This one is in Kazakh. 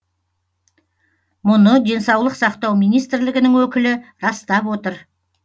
мұны денсаулық сақтау министрлігінің өкілі растап отыр